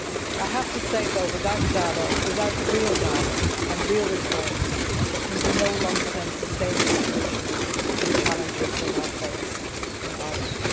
I have to say though, that without dialogue, without real dialogue and real reforms, there can be no long term, sustainable solutions to the challenges that are faced in Bahrain.